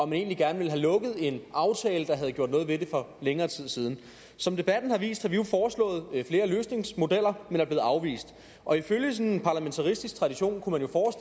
man egentlig gerne ville have lukket en aftale der havde gjort noget ved det for længere tid siden som debatten har vist har vi jo foreslået flere løsningsmodeller men er blevet afvist og ifølge sådan parlamentarisk tradition kunne man